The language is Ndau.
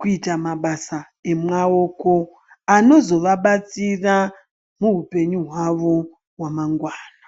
kuita mabasa emwaoko anozovabatsira muhupenyu hwavo hwemangwana.